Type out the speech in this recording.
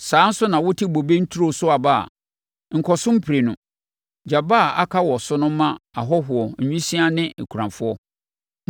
Saa nso na wote wo bobe nturo so aba a, nkɔ so mprenu. Gya aba a aka wɔ so no ma ahɔhoɔ, nwisiaa ne akunafoɔ.